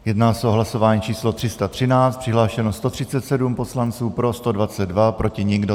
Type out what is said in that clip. Jedná se o hlasování číslo 313, přihlášeno 137 poslanců, pro 122, proti nikdo.